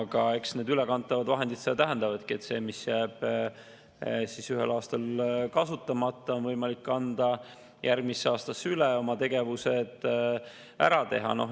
Aga eks need ülekantavad vahendid seda tähendavadki, et see, mis jääb ühel aastal kasutamata, on võimalik kanda järgmisse aastasse üle ja oma tegevused ära teha.